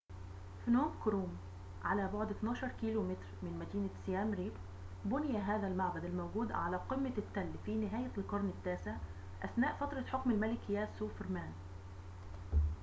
فنوم كروم على بعد 12 كيلومتر من مدينة سيام ريب بُنى هذا المعبد الموجود على قمة التل في نهاية القرن التاسع أثناء فترة حكم الملك ياسوفرمان